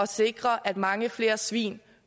sikre at mange flere svin